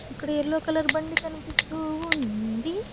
అక్కడ yellow colour బండి కనిపిస్తూ ఉంది.